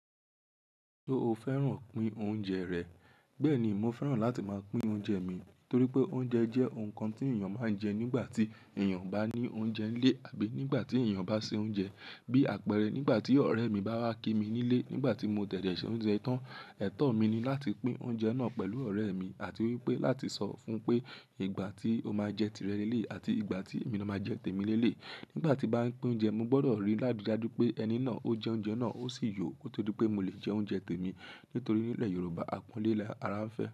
Ṣo fẹ́ràn pín oúnjẹ rẹ̀? Bẹ́ẹ̀ ni, mo fẹ́ràn láti máa pín oúnjẹ mi torí pé oúnjẹ jẹ́ ohun kan tí èèyàn máa ń jẹ nígbà tí èèyàn bá ní oúnjẹ nílé àbí nígbà tí èèyàn bá se oúnjẹ. Bí àpẹẹrẹ nígbà tí ọ̀rẹ́ mi bá wá kí mi nílé nígbà tí mo dèdè ṣe oúnjẹ tán, ẹ̀tọ́ mi ni láti pín oúnjẹ náà pẹ̀lú ọ̀rẹ́ mi àti wípé láti sọ fún pé ìgbà tí ó máa jẹ tirẹ nílé àti ìgbà tí èmi na máa jẹ tèmi nílé. Nígbà tí nbá pín oúnjẹ, mo gbọdọ̀ rí láridáju pé ẹni náà ó jẹ oúnjẹ náà, ó sì yò kó tó pé mo lè jẹ oúnjẹ tèmi. Nítorí nílẹ̀ Yorùbá aponlé lara ń fẹ́.